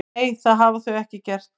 Nei, það hafa þau ekki gert